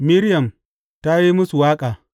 Miriyam ta yi musu waƙa.